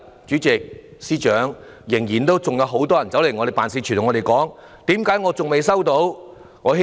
主席、司長，直至今天，仍然有很多人來到我們的辦事處詢問為何仍未收到款項。